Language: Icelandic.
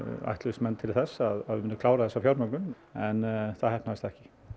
ætluðust menn til þess að við kláruðum þessa fjármögnun en það heppnaðist ekki